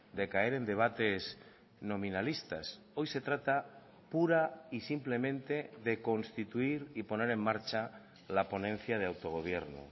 de caer en debates nominalistas hoy se trata pura y simplemente de constituir y poner en marcha la ponencia de autogobierno